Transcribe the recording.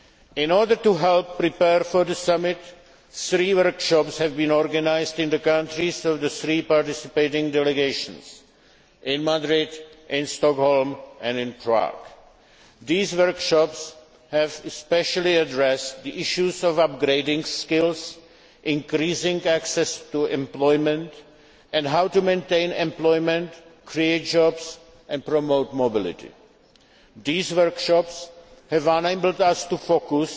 In order to help prepare for the Summit, three workshops have been organised in the countries of the three participating delegations in Madrid, in Stockholm and in Prague. These workshops have especially addressed the issues of upgrading skills, increasing access to employment, and how to maintain employment, create jobs and promote mobility. These workshops have enabled us to